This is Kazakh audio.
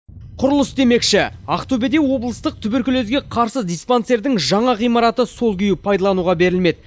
құрылыс демекші ақтөбеде облыстық туберкулезге қарсы диспансердің жаңа ғимараты сол күйі пайдалануға берілмеді